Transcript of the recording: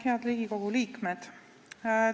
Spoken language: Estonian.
Head Riigikogu liikmed!